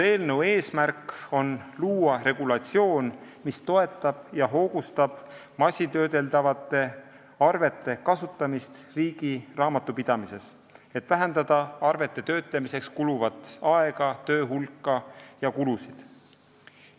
Eelnõu eesmärk on luua regulatsioon, mis toetab ja hoogustab masintöödeldavate arvete kasutamist riigi raamatupidamises, et vähendada arvete töötlemisele kuluvat aega, töö hulka ja kulusid.